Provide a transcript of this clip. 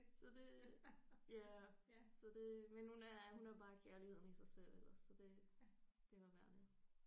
Så det ja så det men hun er hun er bare kærligheden i sig selv ellers så det det er bare dejligt